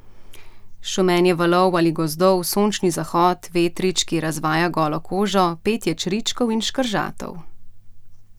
Šumenje valov ali gozdov, sončni zahod, vetrič, ki razvaja golo kožo, petje čričkov in škržatov ...